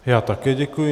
Já také děkuji.